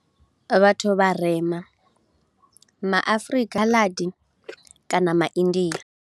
Vhathu vharema, ma Afrika, Khaladi kana ma India.